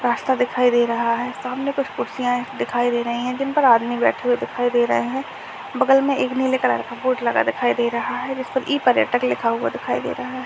रास्ता दिखाई दे रहा है सामने कुछ कुर्सियांए दिखाई दे रहीं है जिनपर आदमी बैठे हुए दिखाई दे रहे है बगल में एक नीले कलर का बोर्ड लगा दिखाई दे रहा है जिसपर ई-पर्यटक लिखा हुआ दिखाई दे रहा है।